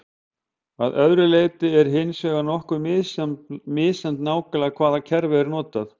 Að öðru leyti er hins vegar nokkuð misjafnt nákvæmlega hvaða kerfi er notað.